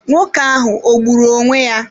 Nwoke ahụ o gburu onwé ya?